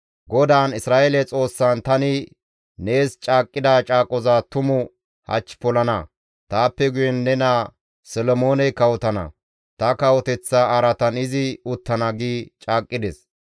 GODAAN, Isra7eele Xoossan tani nees caaqqida caaqoza tumu hach polana; taappe guyen ne naa Solomooney kawotana; ta kawoteththa araatan izi uttana» gi caaqqides.